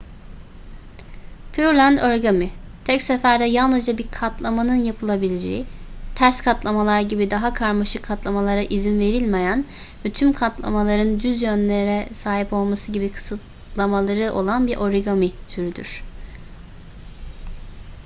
pureland origami tek seferde yalnızca bir katlamanın yapılabileceği ters katlamalar gibi daha karmaşık katlamalara izin verilmeyen ve tüm katlamaların düz yönlere sahip olması gibi kısıtlamaları olan bir origami türüdür